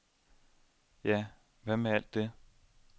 Ja, hvad med alt det?